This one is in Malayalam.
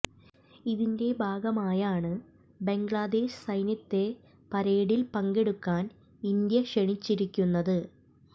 ഇതിന്റെ ഭാഗമായാണ് ബംഗ്ലാദേശ് സൈന്യത്തെ പരേഡിൽ പങ്കെടുക്കാൻ ഇന്ത്യ ക്ഷണിച്ചിരിക്കുന്നത്